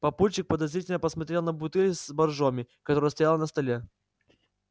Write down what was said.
папульчик подозрительно посмотрел на бутыль с боржоми которая стояла на столе